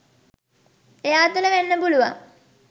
එයා තුළ වෙන්න පුළුවන්